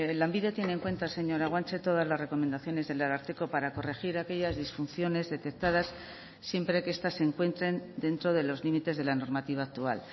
lanbide tiene en cuenta señora guanche todas las recomendaciones del ararteko para corregir aquellas disfunciones detectadas siempre que estas se encuentren dentro de los límites de la normativa actual